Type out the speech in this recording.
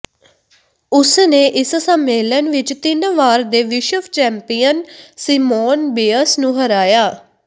ਉਸ ਨੇ ਇਸ ਸੰਮੇਲਨ ਵਿੱਚ ਤਿੰਨ ਵਾਰ ਦੇ ਵਿਸ਼ਵ ਚੈਂਪੀਅਨ ਸਿਮੋਨ ਬਿਅਸ ਨੂੰ ਹਰਾਇਆ